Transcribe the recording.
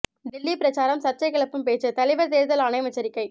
டெல்லி பிரசாரம் சர்ச்சை கிளப்பும் பேச்சு தலைவர் தேர்தல் ஆணையம் எச்சரிக்கை